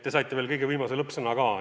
Te saite veel kõige viimase lõppsõna ka, on ju.